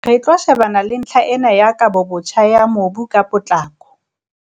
"Re tlo shebana le ntlha ena ya kabobotjha ya mobu ka potlako."